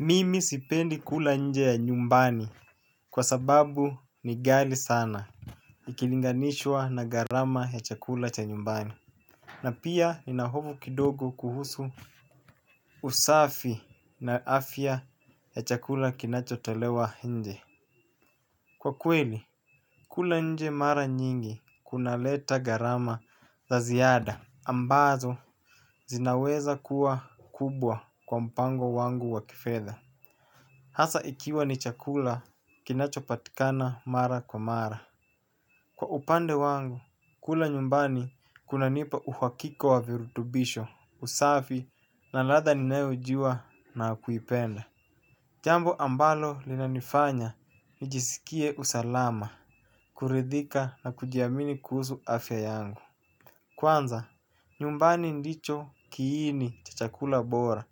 Mimi sipendi kula nje ya nyumbani kwa sababu ni ghali sana. Ikilinganishwa na gharama ya chakula cha nyumbani na pia nina hofu kidogo kuhusu usafi na afya ya chakula kinachotolewa nje kwa kweli. Kula nje mara nyingi kuna leta gharama za ziada ambazo zinaweza kuwa kubwa kwa mpango wangu wa kifedha. Hasa ikiwa ni chakula kinachopatikana mara kwa mara kwa upande wangu, kula nyumbani kunanipa uhakika wa virutubisho, usafi na ladha ninayojua na kuipenda. Jambo ambalo linanifanya nijisikie usalama, kuridhika na kujiamini kuhusu afya yangu kwanza nyumbani ndicho kiini cha chakula bora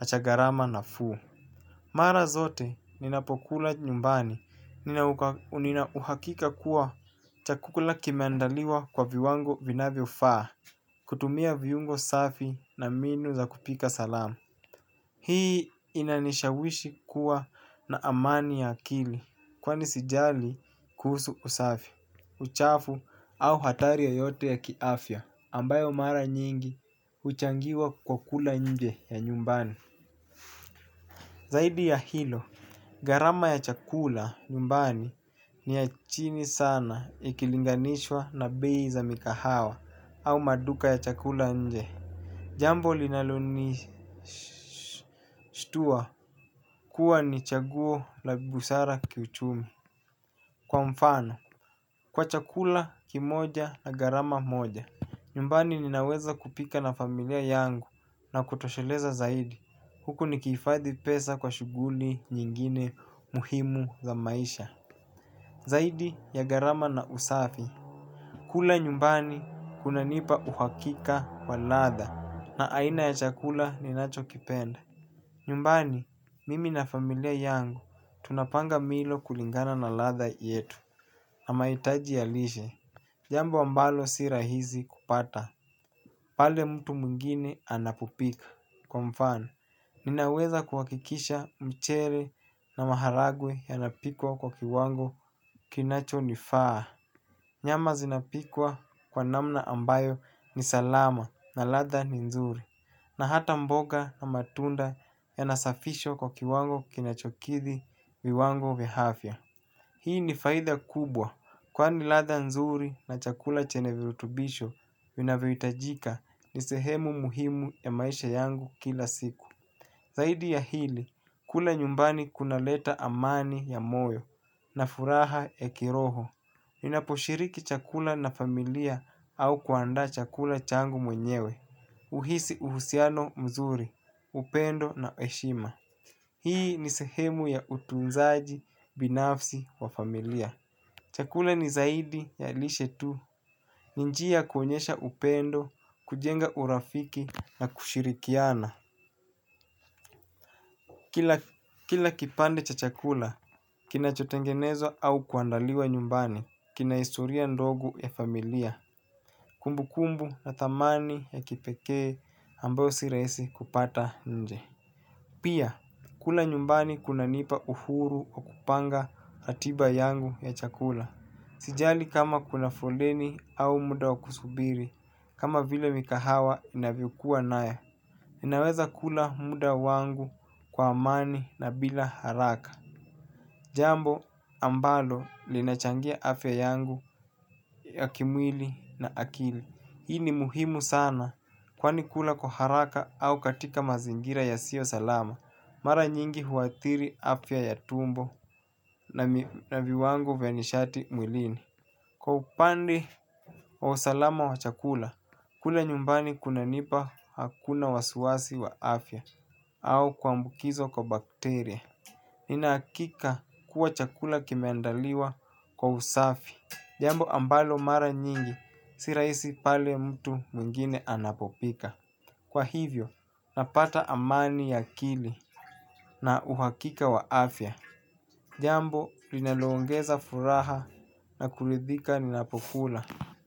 na cha gharama nafuu. Mara zote ninapokula nyumbani, nina uhakika kuwa cha kukula kimeandaliwa kwa viwango vinavyofaa. Kutumia viungo safi na mbinu za kupika salama. Hii inanishawishi kuwa na amani ya akili kwani sijali kuhusu usafi, uchafu au hatari yoyote ya kiafya ambayo mara nyingi huchangiwa kwa kula nje ya nyumbani. Zaidi ya hilo gharama ya chakula nyumbani ni ya chini sana ikilinganishwa na bei za mikahawa au maduka ya chakula nje. Jambo linalonishtua kuwa ni chaguo la busara kiuchumi. Kwa mfano, kwa chakula kimoja na gharama moja. Nyumbani ninaweza kupika na familia yangu na kutosheleza zaidi. Huku nikihifadhi pesa kwa shughuli nyingine muhimu za maisha. Zaidi ya gharama na usafi kula nyumbani kunanipa uhakika wa ladha na aina ya chakula ninachokipenda nyumbani mimi na familia yangu tunapanga milo kulingana na ladha yetu na mahitaji ya lishe jambo ambalo si rahisi kupata pale mtu mwingine anapopika kwa mfano ninaweza kuhakikisha mchele na maharagwe yanapikwa kwa kiwango kinachonifaa. Nyama zinapikwa kwa namna ambayo ni salama na ladha ni nzuri. Na hata mboga na matunda yanasafishwa kwa kiwango kinacho kidhi viwango vya afya. Hii ni faida kubwa kwani ladha nzuri na chakula chenye virutubisho vinavyohitajika ni sehemu muhimu ya maisha yangu kila siku zaidi ya hili kula nyumbani kinaleta amani ya moyo na furaha ya kiroho. Ninaposhiriki chakula na familia au kuandaa chakula changu mwenyewe. Uhisi uhusiano mzuri, upendo na heshima. Hii ni sehemu ya utunzaji binafsi wa familia. Chakula ni zaidi ya lishe tu. Ni njia ya kuonyesha upendo, kujenga urafiki na kushirikiana. Kila kipande cha chakula, kinachotengenezwa au kuandaliwa nyumbani, kina historia ndogo ya familia, kumbukumbu na thamani ya kipekee ambayo sirahisi kupata nje. Pia kula nyumbani kunanipa uhuru wa kupanga ratiba yangu ya chakula. Sijali kama kuna foleni au muda wa kusubiri, kama vile mikahawa inavyokuwa nayo. Ninaweza kula muda wangu kwa amani na bila haraka. Jambo ambalo linachangia afya yangu ya kimwili na akili. Hii ni muhimu sana kwani kula kwa haraka au katika mazingira yasiyo salama. Mara nyingi huathiri afya ya tumbo na viwango vya nishati mwilini. Kwa upande wa usalama wa chakula, kule nyumbani kunanipa hakuna wasiwasi wa afya au kuambukizwa kwa bakteria. Nina hakika kuwa chakula kimeandaliwa kwa usafi. Jambo ambalo mara nyingi, si rahisi pale mtu mwingine anapopika. Kwa hivyo, napata amani ya akili na uhakika wa afya. Jambo, linaloongeza furaha na kuridhika ninapokula. Kwa hivyo.